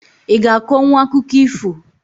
I g'a akọnwu akụkọ ifo?